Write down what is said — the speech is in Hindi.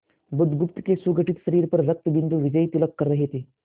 बुधगुप्त के सुगठित शरीर पर रक्तबिंदु विजयतिलक कर रहे थे